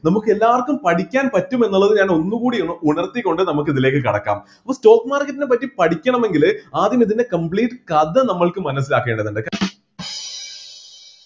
നമുക്ക് എല്ലാർക്കും പഠിക്കാൻ പറ്റും എന്നുള്ളത് ഞാൻ ഒന്നുകൂടി ഒന്ന് ഉണർത്തികൊണ്ട് നമുക്ക് ഇതിലേക്ക് കടക്കാം നമുക് stock market നെ പറ്റി പഠിക്കണമെങ്കില് ആദ്യം ഇതിലെ complete കഥ നമ്മൾക്ക് മനസ്സിലാക്കേണ്ടതിണ്ട്